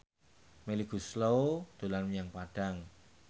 Melly Goeslaw dolan menyang Padang